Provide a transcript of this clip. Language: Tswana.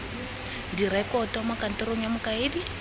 direkoto mo kantorong ya mokaedi